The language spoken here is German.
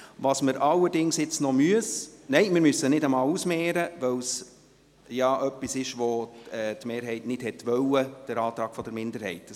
Wir müssen jetzt auch nicht ausmehren, weil die Mehrheit ja den Antrag der Minderheit nicht wollte.